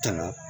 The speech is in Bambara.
Tɔnɔ